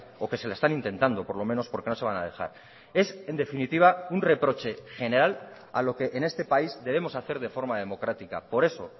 o que se la están intentando por lo menos porque no se van a dejar es en definitiva un reproche general a lo que en este país debemos hacer de forma democrática por eso